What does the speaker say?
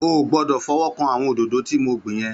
Ó gbòdò fòwòkán áwòn ódodõ ti mó gbin yèn